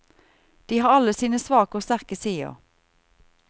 De har alle sine svake og sterke sider.